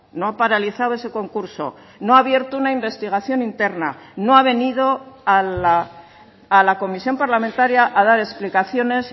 no ha paralizado ese concurso no ha abierto una investigación interna no ha venido a la comisión parlamentaria a dar explicaciones